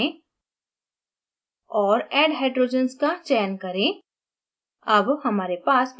build menu पर जाए और add hydrogens का चयन करें